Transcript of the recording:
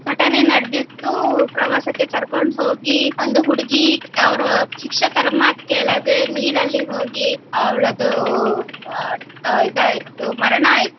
ಘಟನೆ ನಡೆದಿತ್ತು ಪ್ರವಾಸಕ್ಕೆ ಕರ್ಕೊಂಡ್ ಹೋಗಿ ಒಂದು ಹುಡುಗಿ ಅವ್ರ ಶಿಕ್ಷಕರ ಮಾತ್ ಕೇಳದೆ ನೀರಲ್ಲಿ ಹೋಗಿ ಅವಳದು ಇದು ಆಯ್ತು ಮರಣ ಆಯ್ತು.